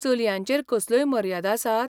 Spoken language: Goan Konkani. चलयांचेर कसल्योय मर्यादा आसात?